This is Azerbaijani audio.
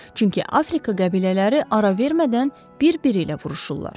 Çünki Afrika qəbilələri ara vermədən bir-biri ilə vuruşurlar.